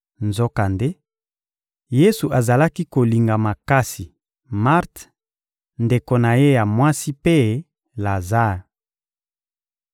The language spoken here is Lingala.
Nzokande, Yesu azalaki kolinga makasi Marte, ndeko na ye ya mwasi mpe Lazare.